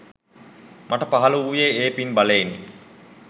මට පහළ වූයේ ඒ පින් බලයෙනි.